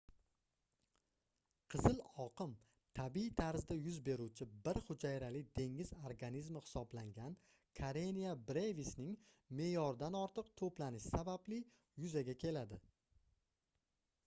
qizil oqim tabiiy tarzda yuz beruvchi bir hujayrali dengiz organizmi hisoblangan karenia brevisning meʼyordan ortiq toʻplanishi sababli yuzaga keladi